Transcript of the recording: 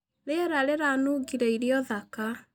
Rĩera rĩranũngĩre irio thaka.